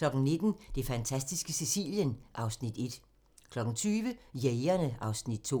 (3:4) 19:00: Det fantastiske Sicilien (Afs. 1) 20:00: Jægerne (Afs. 2)